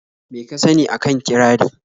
Me ka sani a kan kirari?